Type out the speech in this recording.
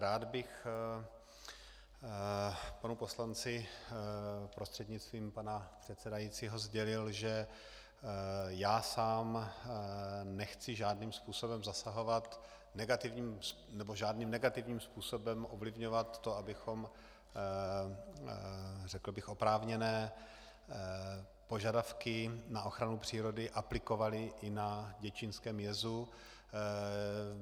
Rád bych panu poslanci prostřednictvím pana předsedajícího sdělil, že já sám nechci žádným způsobem zasahovat nebo žádným negativním způsobem ovlivňovat to, abychom, řekl bych, oprávněné požadavky na ochranu přírody aplikovali i na děčínském jezu.